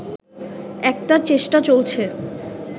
একটা চেষ্টা চলছে